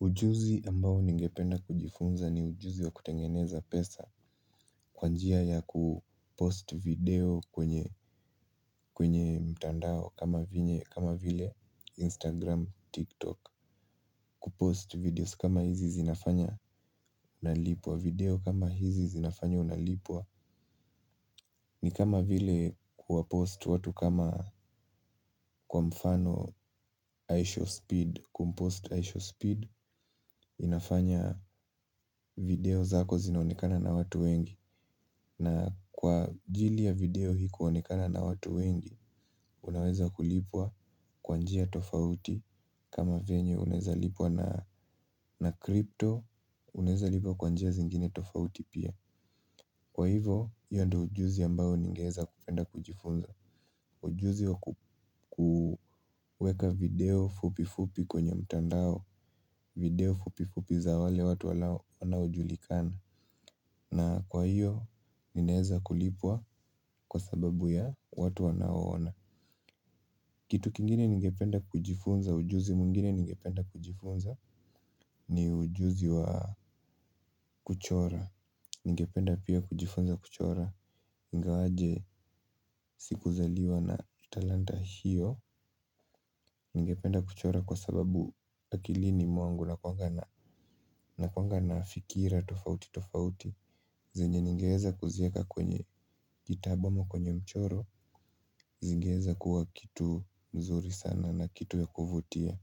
Ujuzi ambao ningependa kujifunza ni ujuzi wa kutengeneza pesa kwa njia ya kupost video kwenye kwenye mtandao kama vinye kama vile Instagram, TikTok kupost videos kama hizi zinafanya unalipwa video kama hizi zinafanya unalipwa. Ni kama vile kuwapost watu kama kwa mfano I show Speed kumpost I show Speed. Inafanya video zako zinaonekana na watu wengi. Na kwa ajili ya video hii kuonekana na watu wengi. Unaweza kulipwa kwa njia tofauti. Kama venye unaeza lipwa na crypto. Unaeza lipwa kwa njia zingine tofauti pia. Kwa hivo hiyo ndo ujuzi ambao ningeeza kupenda kujifunza. Ujuzi wa kuweka video fupi fupi kwenye mtandao. Video fupi fupi za wale watu wanaojulikana. Na kwa hiyo ninaeza kulipwa kwa sababu ya watu wanaoona. Kitu kingine ningependa kujifunza ujuzi mwingine ningependa kujifunza. Ni ujuzi wa kuchora. Ningependa pia kujifunza kuchora ingawaje siku zaliwa na talanta hiyo. Ningependa kuchora kwa sababu akilini mwangu nakuwanga na nakuwanga na fikira tofauti tofauti. Zenye ningeweza kuzieka kwenye kitabu ama kwenye mchoro. Zingeweza kuwa kitu mzuri sana na kitu ya kuvutia.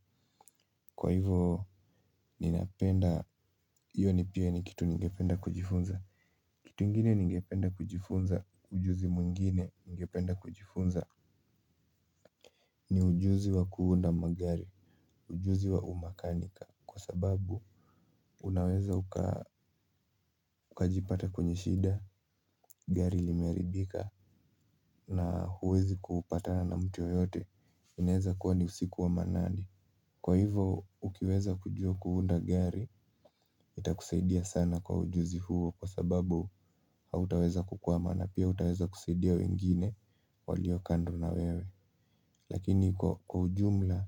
Kwa hivo ninapenda hiyo ni pia ni kitu ningependa kujifunza. Kitu ingine ningependa kujifunza ujuzi mwingine ningependa kujifunza. Ni ujuzi wa kuunda magari. Ujuzi wa umakanika. Kwa sababu unaweza ukajipata kwenye shida gari limeharibika na huwezi kupatana mtu yeyote inaeza kuwa ni usiku wa manane. Kwa hivo ukiweza kujua kuunda gari itakusaidia sana kwa ujuzi huo kwa sababu hautaweza kukua maana pia hutaweza kusaidia wengine walio kando na wewe. Lakini kwa ujumla,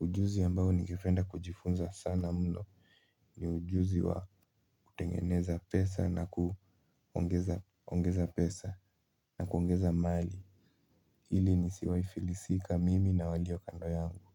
ujuzi ambao ningependa kujifunza sana mno. Ni ujuzi wa kutengeneza pesa na kuongeza pesa na kuongeza mali ili nisiwai filisika mimi na walio kando yangu.